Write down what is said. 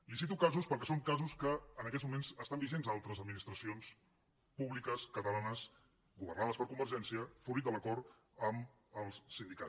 li’n cito casos perquè són casos que en aquests moments estan vigents a altres administracions públiques catalanes governades per convergència fruit de l’acord amb els sindicats